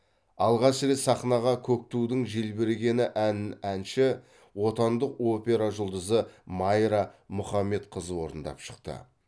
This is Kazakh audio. алғаш рет сахнаға көк тудың желбірегені әнін әнші отандық опера жұлдызы майра мұхаммедқызы орындап шықты